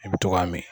I bi to k'a min